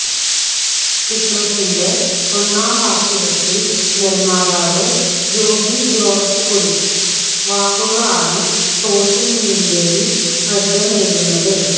ചിത്രത്തിന്റെ ഒന്നാം വാർഷികത്തിൽ നിർമ്മാതാവ് ജോബി ജോർജ് കുറിച്ച വാക്കുകളാണ് സോഷ്യൽ മീഡിയയിൽ ശ്രദ്ധ നേടുന്നത്